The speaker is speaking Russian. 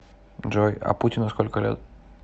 джой а путину сколько лет